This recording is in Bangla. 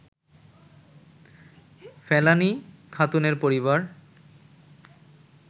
ফেলানী খাতুনের পরিবার